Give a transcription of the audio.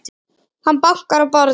Hann bankar í borðið.